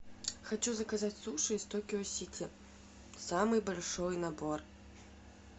хочу заказать суши из токио сити самый большой набор